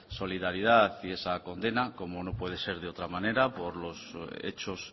solidad y esa condena como no puede ser de otra manera por los hechos